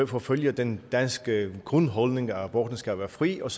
forfølger den danske grundholdning at aborten skal være fri og